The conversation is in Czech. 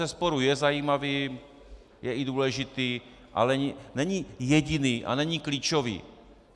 Bezesporu je zajímavý, je i důležitý, ale není jediný a není klíčový.